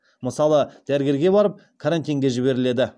мысалы дәрігерге барып карантинге жіберіледі